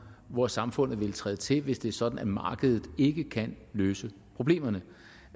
hvor samfundet vil træde til hvis det er sådan at markedet ikke kan løse problemerne